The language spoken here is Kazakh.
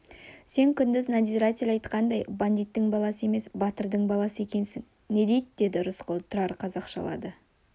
сен күндіз надзиратель айтқандай бандиттің баласы емес батырдың баласы екенсің не дейді деді рысқұл тұрар қазақшалады